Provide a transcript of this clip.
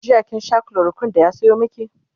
jiya kin Sha chloroquine da ya Sayo maki?